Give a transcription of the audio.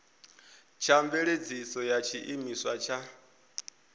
tsha mveledziso ya tshiimiswa tsha